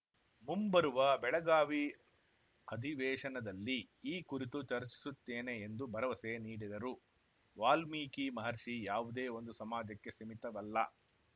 ಮುಂಬರುವ ಬೆಳಗಾವಿ ಅಧಿವೇಶನದಲ್ಲಿ ಈ ಕುರಿತು ಚರ್ಚಿಸುತ್ತೇನೆ ಎಂದು ಭರವಸೆ ನೀಡಿದರು ವಾಲ್ಮೀಕಿ ಮಹರ್ಷಿ ಯಾವುದೇ ಒಂದು ಸಮಾಜಕ್ಕೆ ಸೀಮಿತವಲ್ಲ